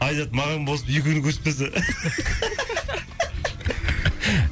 айзат маған болысып екеуінікін өшіріп тастаса